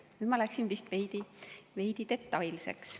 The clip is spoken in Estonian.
Nüüd ma läksin vist veidi liiga detailseks.